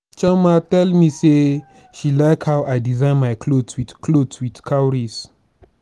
chioma tell me say she like how i design my cloth wit cloth wit cowries